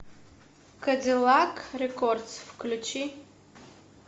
кадиллак рекордс включи